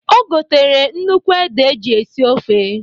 O gotere nnukwu ede eji esi ofe.